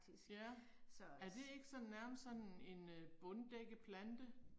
Ja, er det ikke sådan nærmest sådan en øh bunddækkeplante?